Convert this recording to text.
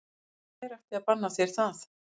Hver ætti að banna þér það?